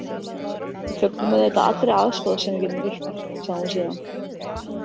Við fögnum auðvitað allri aðstoð sem við getum veitt, sagði hún síðan.